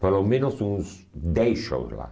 Pelo menos uns dez shows lá.